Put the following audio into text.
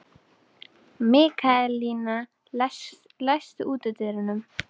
Mikaelína, læstu útidyrunum.